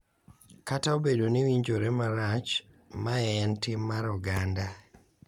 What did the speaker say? Kata obedo ni winjore marach, mae en tim mar oganda